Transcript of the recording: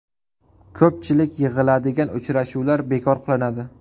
Ko‘pchilik yig‘iladigan uchrashuvlar bekor qilinadi.